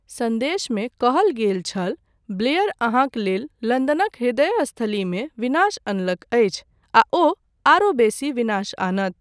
सन्देशमे कहल गेल छल, ब्लेयर अहाँक लेल लन्दनक ह्रदयस्थलीमे विनाश अनलक अछि आ ओ आरो बेसी विनाश आनत।